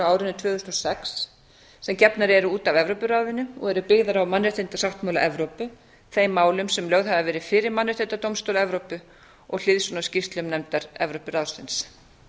árinu tvö þúsund og sex sem gefnar eru út af evrópuráðinu og eru byggðar á mannréttindasáttmála evrópu þeim málum sem lögð hafa verið fyrir mannréttindadómstól evrópu og hliðsjón af skýrslum nefndar evrópuráðsins